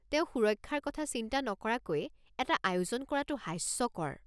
তেওঁ সুৰক্ষাৰ কথা চিন্তা নকৰাকৈয়ে এটা আয়োজন কৰাটো হাস্যকৰ।